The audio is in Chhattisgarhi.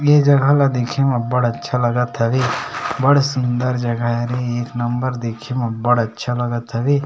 ये जगह ला देख में बढ़ अच्छा लागत हवे बढ़ सुंदर जगह हले एक नंबर देखे में बढ़ अच्छा लगत हवे ।--